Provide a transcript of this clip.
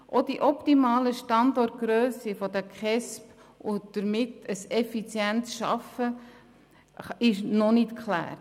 Auch die optimalen Standortgrössen der KESB, die ein effizientes Arbeiten erlauben, sind noch nicht geklärt.